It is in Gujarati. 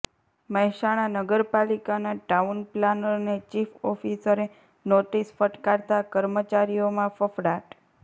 મહેસાણા નગરપાલિકાના ટાઉન પ્લાનરને ચીફ ઓફિસરે નોટિસ ફટકારતાં કર્મચારીઓમાં ફફડાટ